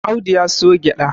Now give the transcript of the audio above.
Audu ya siyo gyada